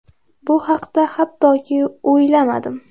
Bu haqda hattoki o‘ylamadim.